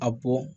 A bɔ